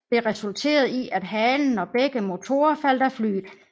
Dette resulterede i at halen og begge motorer faldt af flyet